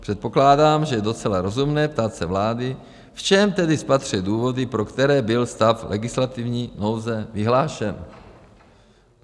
Předpokládám, že je docela rozumné ptát se vlády, v čem tedy spatřuje důvody, pro které byl stav legislativní nouze vyhlášen.